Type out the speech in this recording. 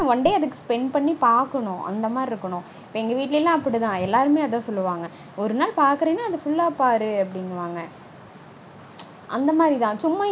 One day அதுக்கு spend பண்ணி பாக்கனும். அந்த மாதிரி இருக்கனும். இப்போ எங்க வீட்லலாம் அப்படிதா. எல்லாருமே அதா சொல்லுவாங்க. ஒரு நாள் பாக்கறனா full -ஆ பாரு அப்படீனுவாங்க